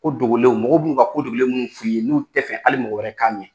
Ko dogolenw, mɔgɔw b'un'uw ka ko dogolen minnu f'i ye n'u tɛ fɛ hali mɔgɔ wɛrɛ k'a mɛ